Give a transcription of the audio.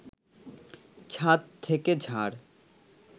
ছাদ থেকে ঝাড়